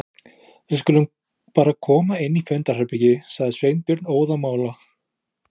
Við skulum bara koma inn í fundarherbergi- sagði Sveinbjörn óðamála.